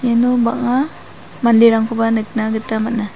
iano bang·a manderangkoba nikna gita man·a.